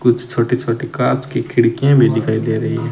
कुछ छोटी छोटी काच खिड़कियां भी दिखाई दे रही हैं।